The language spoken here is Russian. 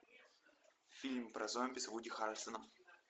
фильм про зомби с вуди харрельсоном